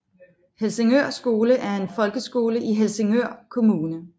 Helsingør Skole er en folkeskole i Helsingør Kommune